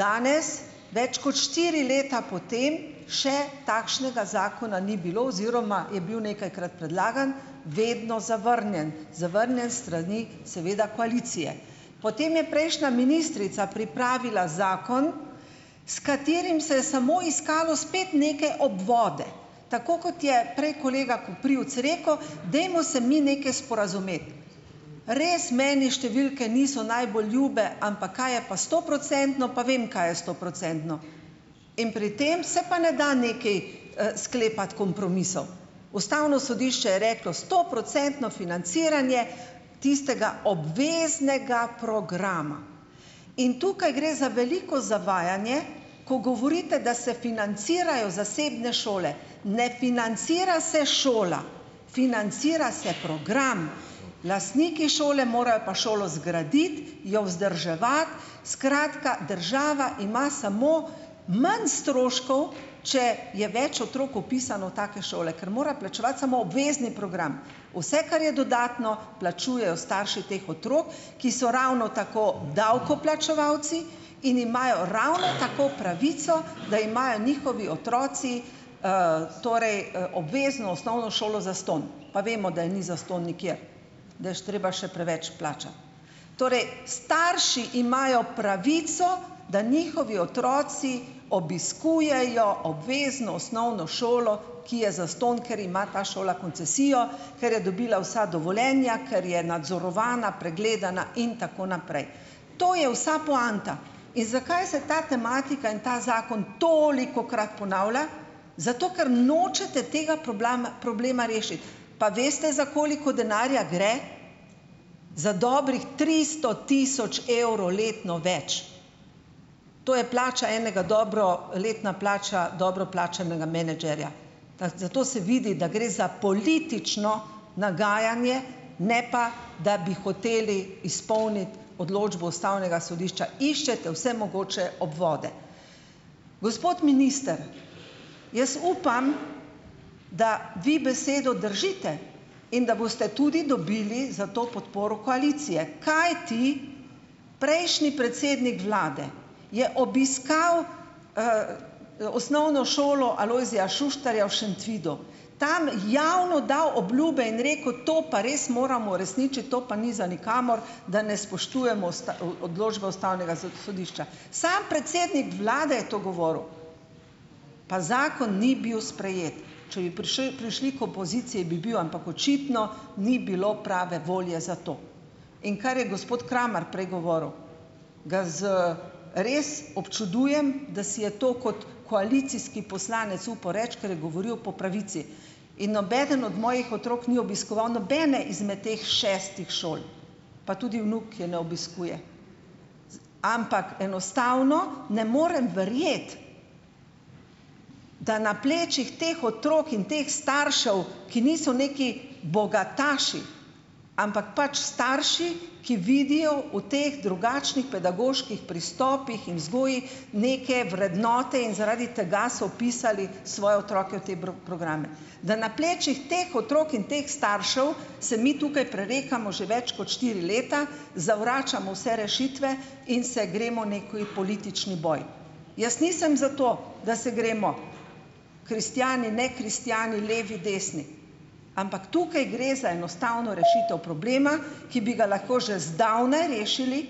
Danes, več kot štiri leta po tem, še takšnega zakona ni bilo oziroma je bil nekajkrat predlagan, vedno zavrnjen. Zavrnjen s strani seveda koalicije. Potem je prejšnja ministrica pripravila zakon, s katerim se je samo iskalo spet neke obvode. Tako kot je prej kolega Koprivc rekel - dajmo se mi nekaj sporazumeti. Res, meni številke niso najbolj ljube, ampak kaj je pa stoprocentno, pa vem, kaj je stoprocentno. In pri tem se pa ne da nekaj, sklepati kompromisov. Ustavno sodišče je reklo: "Stoprocentno financiranje tistega obveznega programa," in tukaj gre za veliko zavajanje, ko govorite, da se financirajo zasebne šole, ne financira se šola, financira se program. Lastniki šole morajo pa šolo zgraditi, jo vzdrževati, skratka, država ima samo manj stroškov, če je več otrok vpisano v take šole, kar mora plačevati samo obvezni program. Vse, kar je dodatno, plačujejo starši teh otrok, ki so ravno tako davkoplačevalci in imajo ravno tako pravico, da imajo njihovi otroci, torej, obvezno osnovno šolo zastonj. Pa vemo, da ni zastonj nikjer, da je treba še preveč plačati. Torej, starši imajo pravico, da njihovi otroci obiskujejo obvezno osnovno šolo, ki je zastonj, ker ima ta šola koncesijo, ker je dobila vsa dovoljenja, ker je nadzorovana, pregledana in tako naprej. To je vsa poanta in zakaj se ta tematika in ta zakon tolikokrat ponavlja? Zato, ker nočete tega problama, problema rešiti, pa veste, za koliko denarja gre? Za dobrih tristo tisoč evrov letno več. To je plača enega dobro, letna plača dobro plačanega menedžerja. Fa, zato se vidi, da gre za politično nagajanje, ne pa, da bi hoteli izpolniti odločbo ustavnega sodišča. Iščete vse mogoče obvode. Gospod minister, jaz upam, da vi besedo držite in da boste tudi dobili za to podporo koalicije, kajti prejšnji predsednik vlade je obiskal, Osnovno šolo Alojzija Šuštarja v Šentvidu, tam javno dal obljube in rekel: "To pa res moramo uresničiti, to pa ni za nikamor, da ne spoštujemo usta, o, odločbe ustavnega sodišča." Samo predsednik vlade je to govoril, pa zakon ni bil sprejet. Če bi prišli k opoziciji, bi bil, ampak očitno ni bilo prave volje za to. In kar je gospod Kramar prej govoril, ga z, res občudujem, da si je to kot koalicijski poslanec upal reči, ker je govoril po pravici, in nobeden od mojih otrok ni obiskoval nobene izmed teh šestih šol, pa tudi vnuk je ne obiskuje, ampak enostavno ne morem verjeti, da na plečih teh otrok in teh staršev, ki niso neki bogataši, ampak pač starši, ki vidijo v teh drugačnih pedagoških pristopih in vzgoji, neke vrednote in zaradi tega so vpisali svoje otroke v te programe. Da na plečih teh otrok in teh staršev se mi tukaj prerekamo že več kot štiri leta, zavračamo vse rešitve in se gremo neki politični boj. Jaz nisem za to, da se gremo ... Kristjani, nekristjani, levi, desni, ampak tukaj gre za enostavno rešitev problema, ki bi ga lahko že zdavnaj rešili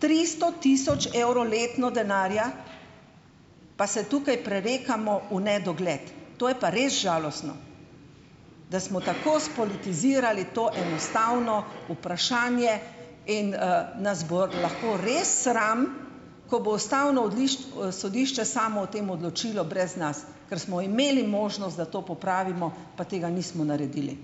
tristo tisoč evrov letno denarja, pa se tukaj prerekamo v nedogled, to je pa res žalostno. Da smo tako spolitizirali to enostavno vprašanje in, nas bo lahko res sram, ko bo ustavno sodišče samo o tem odločilo brez nas, kar smo imeli možnost, da to popravimo, pa tega nismo naredili.